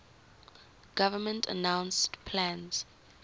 government announced plans